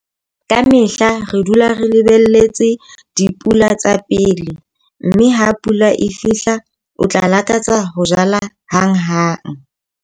Ka mehla re dula re lebelletse dipula tsa pele, mme ha pula e fihla, o tla lakatsa ho jala hanghang!